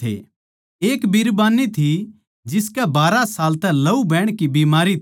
एक बिरबान्नी थी जिसकै बारहा साल तै लहू बहण की बीमारी थी